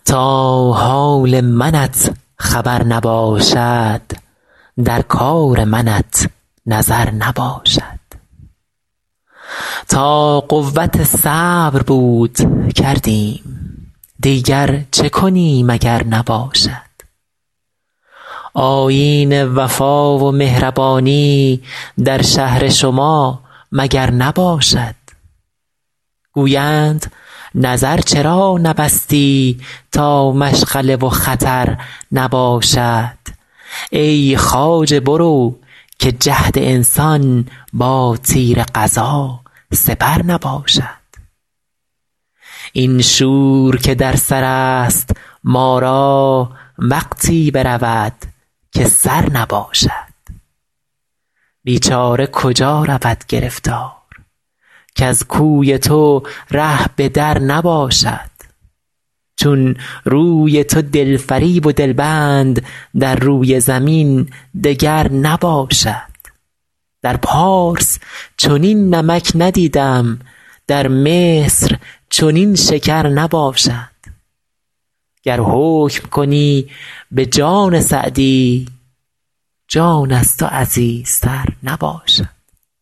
تا حال منت خبر نباشد در کار منت نظر نباشد تا قوت صبر بود کردیم دیگر چه کنیم اگر نباشد آیین وفا و مهربانی در شهر شما مگر نباشد گویند نظر چرا نبستی تا مشغله و خطر نباشد ای خواجه برو که جهد انسان با تیر قضا سپر نباشد این شور که در سر است ما را وقتی برود که سر نباشد بیچاره کجا رود گرفتار کز کوی تو ره به در نباشد چون روی تو دل فریب و دل بند در روی زمین دگر نباشد در پارس چنین نمک ندیدم در مصر چنین شکر نباشد گر حکم کنی به جان سعدی جان از تو عزیزتر نباشد